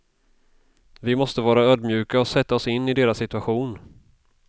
Vi måste vara ödmjuka och sätta oss in i deras situation.